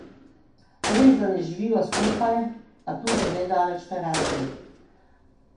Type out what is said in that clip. Resda ne živiva skupaj, a tudi ne daleč narazen.